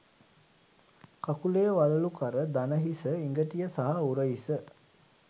කකුලේ වළලුකර දණහිස ඉඟටිය සහ උරහිස